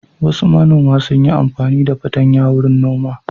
Wasu manoma sun yi amfani da fatanya wurin noma.